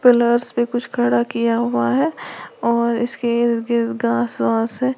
पे कुछ खड़ा किया हुआ है और इसके इर्द गिर्द घास वास है।